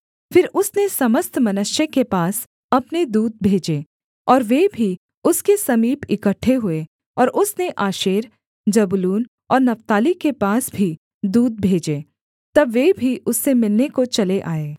फिर उसने समस्त मनश्शे के पास अपने दूत भेजे और वे भी उसके समीप इकट्ठे हुए और उसने आशेर जबूलून और नप्ताली के पास भी दूत भेजे तब वे भी उससे मिलने को चले आए